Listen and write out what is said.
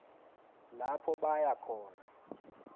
lapho baya khona